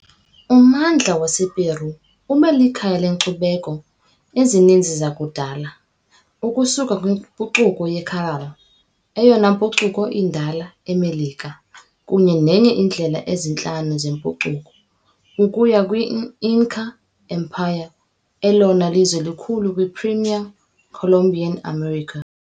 Ummandla wasePeru ube likhaya leenkcubeko ezininzi zakudala, ukusuka kwimpucuko yeCaral, eyona mpucuko indala eMelika kunye nenye yeendlela ezintlanu zempucuko, ukuya kwi- Inca Empire, elona lizwe likhulu kwi- pre-Columbian America .